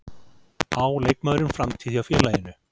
Á leikmaðurinn framtíð hjá félaginu?